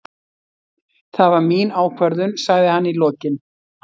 Það var mín ákvörðun, sagði hann í lokin.